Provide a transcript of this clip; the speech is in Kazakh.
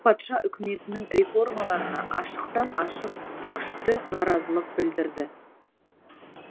патша үкіметінің реформаларына ашықтан ашық күшті наразылық білдірді